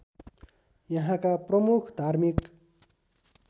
यहाँका प्रमुख धार्मिक